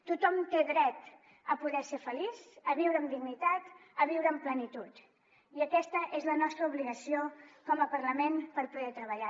tothom té dret a poder ser feliç a viure amb dignitat a viure amb plenitud i aquesta és la nostra obligació com a parlament per poder treballar